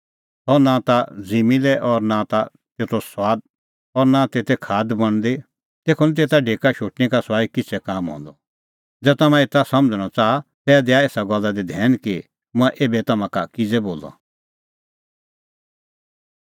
सह नां ता ज़िम्मीं लै और नां ता तेते खाद बणदी तेखअ निं तेता ढेका शोटणै का सुआई किछ़ै काम रहंदअ ज़ै तम्हैं एता समझ़णअ च़ाहा तै दै एसा गल्ला दी धैन कि मंऐं एभै तम्हां का किज़ै बोलअ